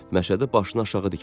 Məşədi başınaşağı dikmişdi.